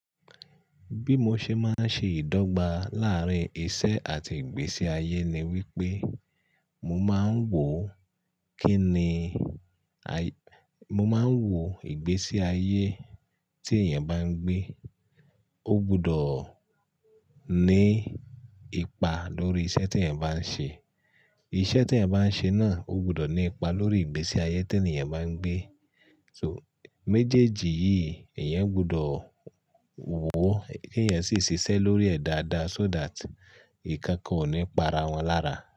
Bí mo ṣe máa ń ṣe ìdọ́gba láàárín iṣẹ́ àti ìgbésí ayé ni wípé, mo máa ń wò kíni, mo máa ń wò ìgbésí ayé tí èèyàn bá ń gbé, ó gbọdọ̀ ní ipa lórí iṣẹ́ tí èèyàn bá ń ṣe. Iṣẹ́ tí èèyàn bá ń ṣe náà ó gbọdọ̀ ní ipa lórí ìgbésí ayé tí ènìyàn bá ń gbé. So méjèèjì yìí èèyàn gbọdọ̀ wò ó kí èèyàn sì ṣiṣẹ́ lórí ẹ̀ dáadáa so that ìkankan ò ní pa ara wọn lára.